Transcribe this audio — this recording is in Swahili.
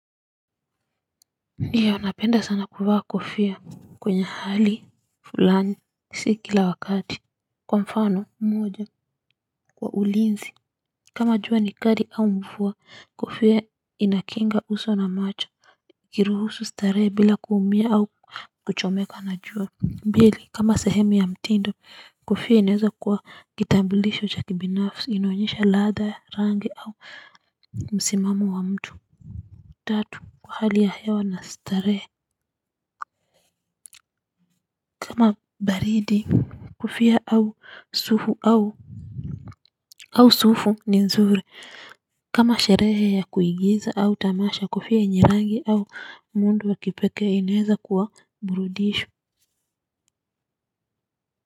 Ndiyo napenda sana kuvaa kofia kwenye hali fulani si kila wakati. Kwa mfano mmoja kwa ulinzi. Kama juwa ni kari au mvua kofia inakinga uso na macho. Kiruhusu staree bila kuumia au kuchomeka na jua. Mbili kama sahemi ya mtindo kofia ineza kuwa kitambilisho cha kibinafsi inoenyesha ladha rangi au msimamo wa mtu. Tatu kwa hali ya hewa na starehe kama baridi kofia au sufu au au sufu ni nzuri kama sherehe ya kuigiza au tamasha kofia njerangi au mundu wakipeke inaweza kuwa mburudisho.